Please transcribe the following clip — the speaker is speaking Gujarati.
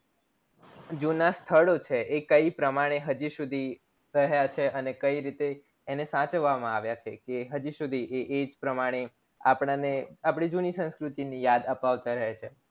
જુના સ્થળો છે એ કય પ્રમાણે હજી સુધી રહ્યા છે અને કઈ રીતે એને સાચવવામાં આવ્યા છે ઈ હજી સુધી એ પ્રમાણે આપણને આપડી જૂની સંસ્કૃતિ ની યાદ અપાવતા રહે છે